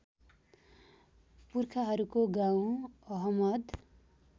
पुर्खाहरूको गाउँ अहमद